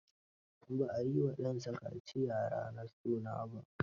Ba a yi wa ɗansa kaciya ranar suna ba.